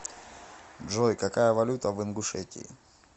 джой какая валюта в ингушетии